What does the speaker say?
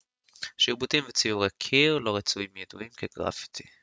שרבוטים וציורי קיר לא רצויים ידועים כגרפיטי